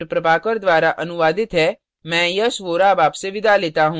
यह स्क्रिप्ट प्रभाकर द्वारा अनुवादित है मैं यश वोरा अब आपसे विदा लेता हूँ